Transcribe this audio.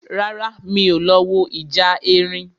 Rárá, mi ò lọ wo ìjà erin